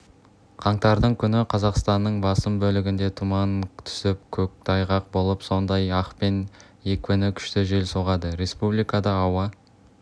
қаңтардың күні қазақстанның басым бөлігінде тұман түсіп көктайғақ болып сондай-ақ екпіні күшті жел соғады республикада ауа